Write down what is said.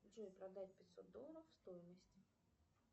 джой продать пятьсот долларов стоимость